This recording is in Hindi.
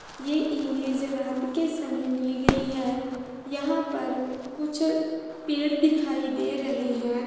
ये इमेज रात के समय ली गयी है यहाँ पर कुछ पेड़ दिखाई दे रहे हैं।